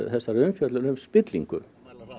þessari umfjöllun um spillingu